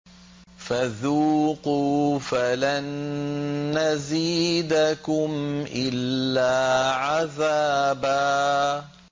فَذُوقُوا فَلَن نَّزِيدَكُمْ إِلَّا عَذَابًا